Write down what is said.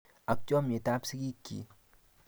ak chamnyet ab sikik chi